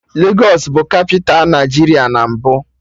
Legos bụ kapịta Nigeria na mbụ